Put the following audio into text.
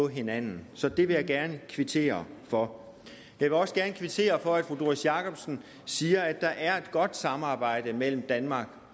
hinanden så det vil jeg gerne kvittere for jeg vil også gerne kvittere for at fru doris jakobsen siger at der er et godt samarbejde mellem danmark